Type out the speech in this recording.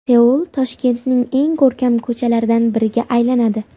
Seul Toshkentning eng ko‘rkam ko‘chalaridan biriga aylanadi .